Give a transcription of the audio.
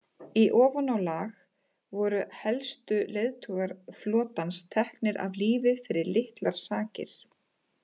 Í ofanálag voru helstu leiðtogar flotans teknir af lífi fyrir litlar sakir.